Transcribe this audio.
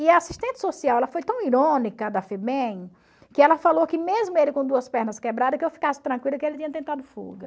E a assistente social, ela foi tão irônica da Febem, que ela falou que mesmo ele com duas pernas quebradas, que eu ficasse tranquila que ele tinha tentado fuga.